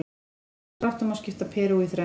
Í grófum dráttum má skipta Perú í þrennt.